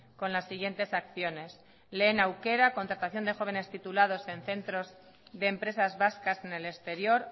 con las siguientes acciones lehen aukera contratación de jóvenes titulados en centros de empresas vascas en el exterior